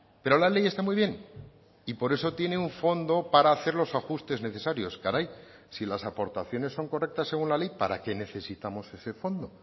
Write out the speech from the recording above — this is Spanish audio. pero la ley está muy bien y por eso tiene un fondo para hacer los ajustes necesarios caray si las aportaciones son correctas según la ley para que necesitamos ese fondo